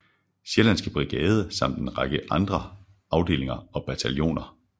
Sjællandske Brigade samt en række andre afdelinger og bataljoner